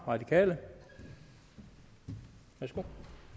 radikale værsgo